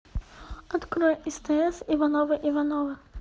открой стс ивановы ивановы